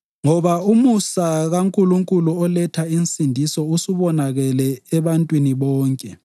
Ngoba umusa kaNkulunkulu oletha insindiso usubonakele ebantwini bonke.